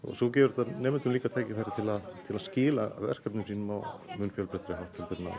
svo gefur þetta nemendum líka tækifæri til að til að skila verkefnum sínum á mun fjölbreyttari hátt en áður